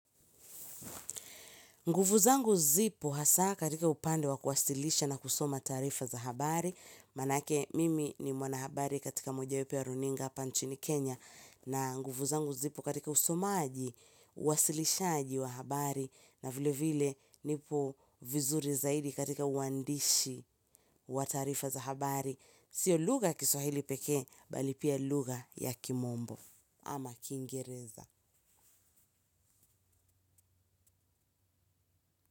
Nguvu zangu zipo hasa katika upande wa kuwasilisha na kusoma taarifa za habari. Maanake mimi ni mwanahabari katika mmoja wapo wa runinga hapa nchini Kenya na nguvu zangu zipo katika usomaji, uwasilishaaji wa habari. Na vilevile nipo vizuri zaidi katika uandishi wa taarifa za habari sio lugha Kiswahili peke mbali pia lugha ya kimombo ama kingereza.